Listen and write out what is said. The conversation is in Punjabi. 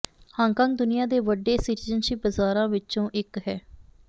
ਹਾਂਗਕਾਂਗ ਦੁਨੀਆਂ ਦੇ ਵੱਡੇ ਸਿਟੀਜ਼ਨਸ਼ਿਪ ਬਾਜ਼ਾਰਾਂ ਵਿੱਚੋਂ ਇੱਕ ਹਨ